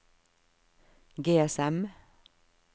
GSM